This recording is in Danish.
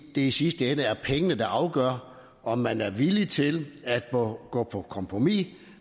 i sidste ende er det pengene der afgør om man er villig til at gå på kompromis